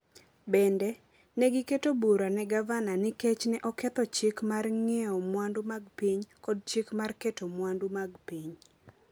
Bende, ne giketo bura ne gavana nikech ne oketho chik mar ng’iewo mwandu mag piny kod chik mar keto mwandu mag piny.